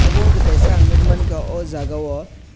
obo ungkha kaisa ang nukgwi mankha oh jagao.